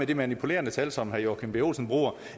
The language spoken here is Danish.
de manipulerede tal som herre joachim b olsen bruger